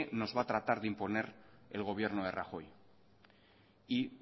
nos va a tratar de imponer el gobierno de rajoy y